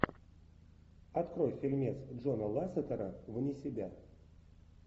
открой фильмец джона лассетера вне себя